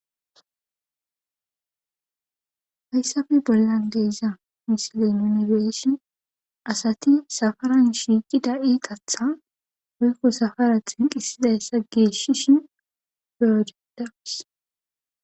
hayssafe bollan deeza misilen nunibeyishin asati safaran shiiqi da'i qatha oykko safara xinqisidayssa geeshishin beyojedaas